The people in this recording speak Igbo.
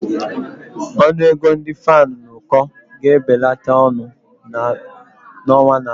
Ọnụ ego ndị fan n'uko ga-ebelata n'ọnwa na-abịa.